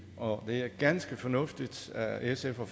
og det er ganske fornuftigt af sf at